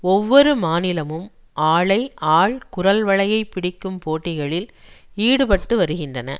ஒவ்வொரு மாநிலமும் ஆளை ஆள் குரல்வளையைப் பிடிக்கும் போட்டிகளில் ஈடுபட்டு வருகின்றன